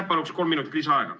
Ma palun kolm minutit lisaaega!